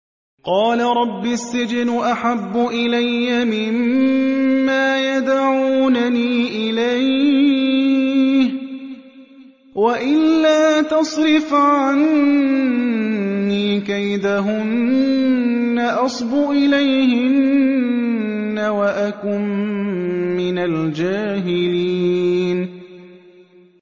قَالَ رَبِّ السِّجْنُ أَحَبُّ إِلَيَّ مِمَّا يَدْعُونَنِي إِلَيْهِ ۖ وَإِلَّا تَصْرِفْ عَنِّي كَيْدَهُنَّ أَصْبُ إِلَيْهِنَّ وَأَكُن مِّنَ الْجَاهِلِينَ